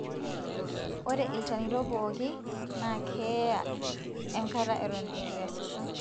Ore ilchanito pooki na keeya enkata eton etu easisho.